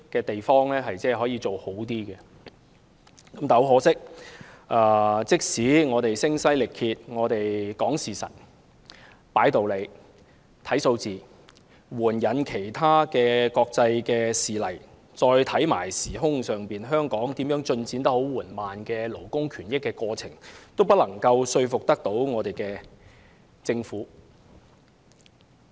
但很可惜，即使我們聲嘶力竭地說事實、擺道理、看數據，援引國際事例，並提到香港進展緩慢的勞工權益過程，也不能說服政府。